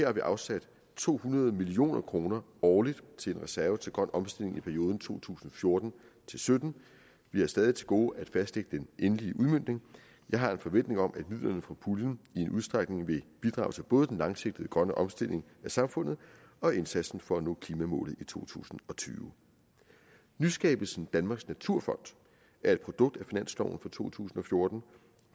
har vi afsat to hundrede million kroner årligt til en reserve til grøn omstilling i perioden to tusind og fjorten til sytten vi har stadig til gode at fastlægge den endelige udmøntning jeg har en forventning om at midlerne fra puljen i en udstrækning vil bidrage til både den langsigtede grønne omstilling af samfundet og indsatsen for at nå klimamålet i to tusind og tyve nyskabelsen danmarks naturfond er et produkt af finansloven for to tusind og fjorten